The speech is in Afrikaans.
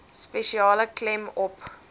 spesiale klem op